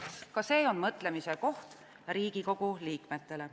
Ka see on mõtlemise koht Riigikogu liikmetele.